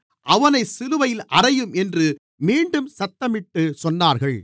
அவனைச் சிலுவையில் அறையும் என்று மீண்டும் சத்தமிட்டுச் சொன்னார்கள்